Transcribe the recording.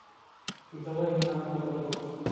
давай на попробовать